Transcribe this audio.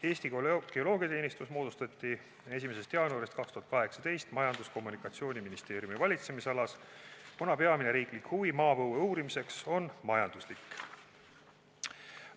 Eesti Geoloogiteenistus moodustati 1. jaanuaril 2018 Majandus- ja Kommunikatsiooniministeeriumi valitsemisalas, kuna peamine riiklik huvi maapõue uurimiseks on majanduslik.